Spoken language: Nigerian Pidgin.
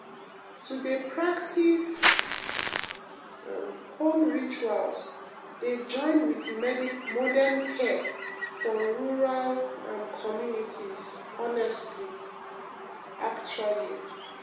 to dey practice um home rituals dey join with modern care for rural um communities honestly actually